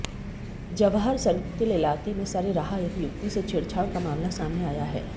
Jawahar circle इलाके में सरेराह एक युवती से छेड़छाड़ का मामला सामने आया है